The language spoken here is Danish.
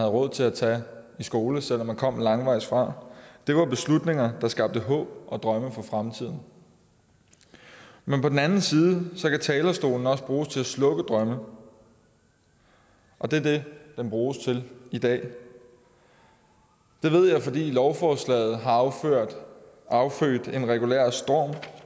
råd til at tage i skole selv om de kom langvejs fra det var beslutninger der skabte håb og drømme for fremtiden men på den anden side kan talerstolen også bruges til at slukke drømme og det er det den bruges til i dag det ved jeg fordi lovforslaget har affødt en regulær storm